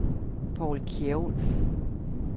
Paul Kjærulff